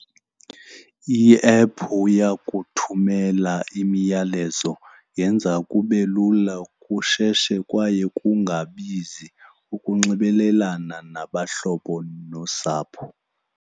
Iephu iyakuthumela imiyalezo. Yenza kube lula, kusheshe kwaye kungabizi ukunxibelelana nabahlobo nosapho.